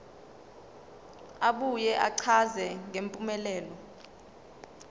abuye achaze ngempumelelo